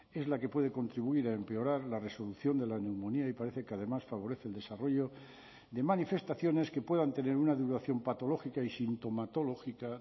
es la que puede contribuir a empeorar la resolución de la neumonía y parece que además favorece el desarrollo de manifestaciones que puedan tener una duración patológica y sintomatológica